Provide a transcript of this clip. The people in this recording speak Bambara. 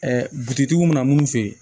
butigitigiw mana munnu f'i ye